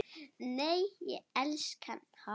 Nei, ég elska veðrið hérna!